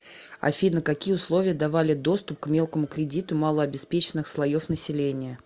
афина какие условия давали доступ к мелкому кредиту малообеспеченных слоев населения